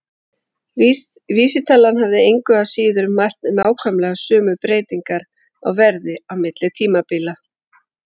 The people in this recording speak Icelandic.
Vísitalan hefði engu að síður mælt nákvæmlega sömu breytingar á verði á milli tímabila.